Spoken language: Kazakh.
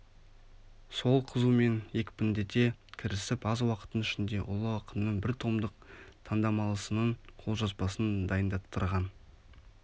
сол қызумен екпіндете кірісіп аз уақыттың ішінде ұлы ақынның біртомдық таңдамалысының қолжазбасын дайындаттырған